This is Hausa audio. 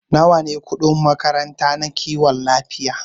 Nawa ne kudin makaranta na kiwon lafiya?